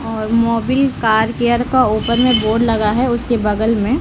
और Mobil car care का ऊपर मे बोर्ड लगा है उसके बगल मे --